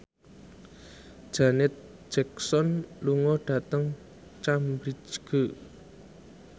Janet Jackson lunga dhateng Cambridge